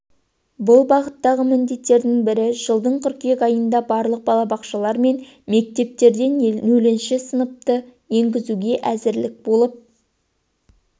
бұл бағыттағы міндеттердің бірі жылдың қыркүйек айында барлық балабақшалар мен мектептерде нөлінші сыныпты енгізуге әзірлік болып